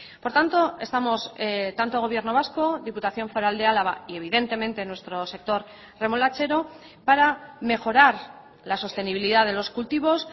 por tanto estamos tanto gobierno vasco diputación foral de álava y evidentemente nuestro sector remolachero para mejorar la sostenibilidad de los cultivos